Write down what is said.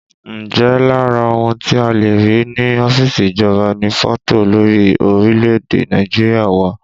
Ǹjẹ́ lára ohun tí a le rí ní ọ́fíìsì ìjọba ni fọ́tò olórí orílẹ̀èdè Nàìjíríà wà?